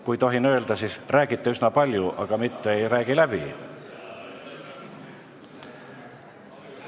Kui ma tohin öelda, siis te räägite üsna palju, aga mitte ei räägi läbi.